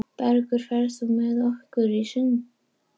Bergur, ferð þú með okkur á sunnudaginn?